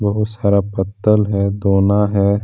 बहुत सारा पत्तल है दोना है।